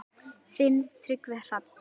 Þinn Tryggvi Hrafn.